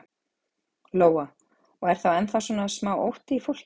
Lóa: Og er þá ennþá svona smá ótti í fólki?